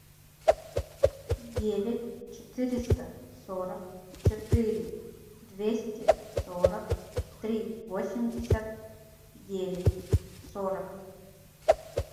девять четыреста сорок четыре двести сорок три восемьдесят девять сорок